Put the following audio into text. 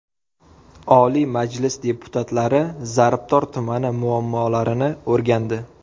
Oliy Majlis deputatlari Zarbdor tumani muammolarini o‘rgandi.